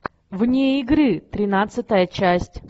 вне игры тринадцатая часть